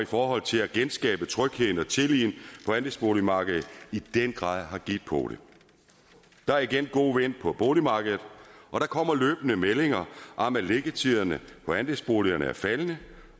for at genskabe trygheden og tilliden på andelsboligmarkedet i den grad har givet pote der er igen god vind på boligmarkedet og der kommer løbende meldinger om at liggetiderne for andelsboligerne er faldende